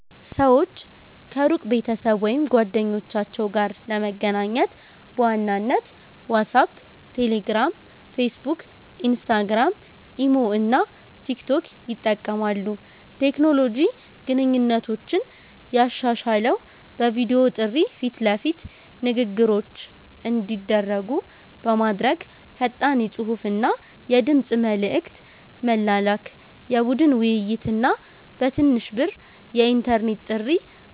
ሰዎች ከሩቅ ቤተሰብ ወይም ጓደኞቻቸው ጋር ለመገናኘት በዋናነት ዋትሳፕ፣ ቴሌግራም፣ ፌስቡክ፣ ኢንስታግራም፣ ኢሞ እና ቲክቶክ ይጠቀማሉ። ቴክኖሎጂ ግንኙነቶችን ያሻሻለው በቪዲዮ ጥሪ ፊት ለፊት ንግግሮች እንዲደረጉ በማድረግ፣ ፈጣን የጽሁፍና የድምጽ መልዕክት መላላክ፣ የቡድን ውይይት እና በትንሽ ብር የኢንተርኔት ጥሪ